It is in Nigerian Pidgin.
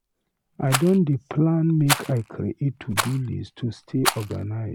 I don dey plan make I create to-do list to stay organized.